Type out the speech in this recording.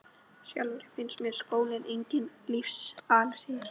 Sjálfri finnst mér skóli enginn lífsins elexír.